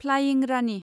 flying Rani